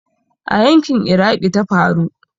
A yanƙin Iraqi ta faru.